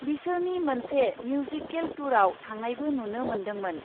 बिसोरनि मोनसे मिउजिकेल टुरआव थांनायबो नुनो मोन्दोंमोन ।